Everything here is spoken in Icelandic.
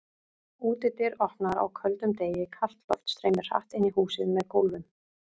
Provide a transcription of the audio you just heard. Útidyr opnaðar á köldum degi, kalt loft streymir hratt inn í húsið með gólfum.